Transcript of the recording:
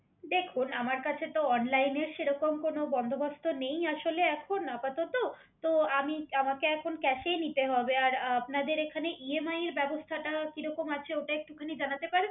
দেখুন আমার কাছে অনলাইনে সেরকম কোনো বন্ধুসভাসহ নেই আসলে এখন আপাতত তো আমি আমাকে এখন কাইস নিতে হবে আপনাদের এখানে ইএমআই ব্যবস্থাটা কিরকম আছে একটুখানি জানাতে পারবেন